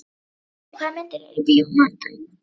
Valli, hvaða myndir eru í bíó á mánudaginn?